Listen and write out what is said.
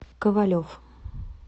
ковалев